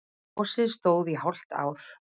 Gosið stóð í hálft ár.